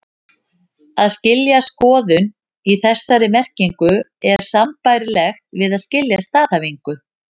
Að skilja skoðun, í þessari merkingu, er sambærilegt við að skilja staðhæfingu.